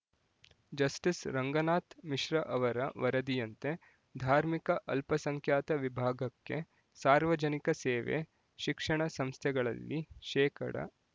justice Ranganath Mishra ಅವರ ವರದಿಯಂತೆ ಧಾರ್ಮಿಕ ಅಲ್ಪ ಸಂಖ್ಯಾತ ವಿಭಾಗಕ್ಕೆ ಸಾರ್ವಜನಿಕ ಸೇವೆ ಶಿಕ್ಷಣ ಸಂಸ್ಥೆಗಳಲ್ಲಿ ಶೇಕಡಾ